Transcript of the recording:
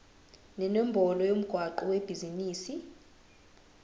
nenombolo yomgwaqo webhizinisi